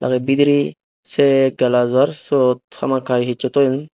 aro bidirey seh glassjor suot hamakai hissu toyon.